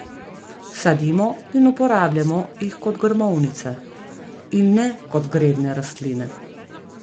Sadimo in uporabljamo jih kot grmovnice, in ne kot gredne rastline.